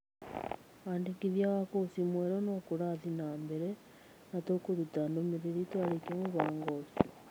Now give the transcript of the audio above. Wandĩkithia wa kũci mwerũ no kũrathiĩ na mbere na tũkũruta ndũmĩrĩri twarĩkia mũbango ũcio.